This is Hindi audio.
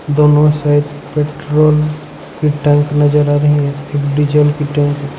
दोनों साइड पेट्रोल की टैंक नजर आ रही है एक डीजल की टैंक है।